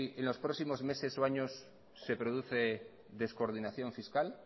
en los próximos meses o años se produce descoordinación fiscal